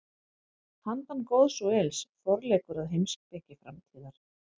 Handan góðs og ills: Forleikur að heimspeki framtíðar.